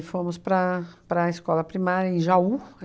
fomos para a para a escola primária em Jaú.